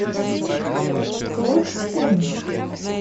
клод в помощь